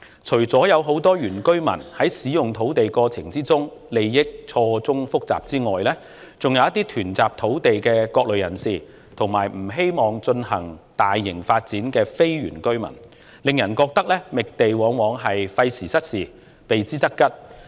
除了很多原居民在使用土地的過程中利益錯綜複雜外，還涉及囤集土地的各類人士，以及不希望進行大型發展的非原居民，令人覺得覓地往往費時失事，避之則吉。